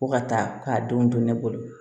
Ko ka taa k'a don ne bolo